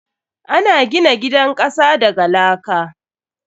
Ana gina gidan kasa daga laka.